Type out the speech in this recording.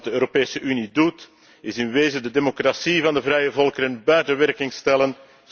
Wat de Europese Unie doet, is in wezen de democratie van de vrije volkeren buiten werking stellen.